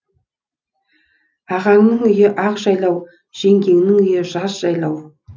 ағаңның үйі ақ жайлау жеңгенің үйі жаз жайлау